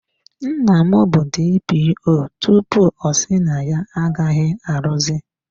Nna m bụ DPO tupu ọ si na ya agaghị arụzi.